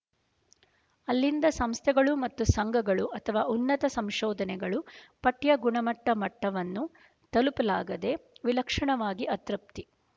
ಅಲ್ಲಿಂದ ಸಂಸ್ಥೆಗಳು ಮತ್ತು ಸಂಘಗಳು ಅಥವಾ ಉನ್ನತ ಸಂಶೋಧನೆಗಳು ಪಠ್ಯ ಗುಣಮಟ್ಟಮಟ್ಟವನ್ನು ತಲುಪಲಾಗದೆ ವಿಲಕ್ಷಣವಾಗಿ ಅತೃಪ್ತಿ